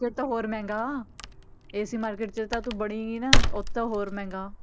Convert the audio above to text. ਫਿਰ ਤਾਂ ਹੋਰ ਮਹਿੰਗਾ ਇਸੇ market 'ਚ ਤਾਂ ਤੂੰ ਵੜੀ ਨੀ ਨਾ ਉੱਥੇ ਤਾਂ ਹੋਰ ਮਹਿੰਗਾ।